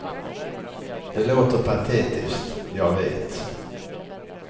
Det låter patetiskt, jag vet.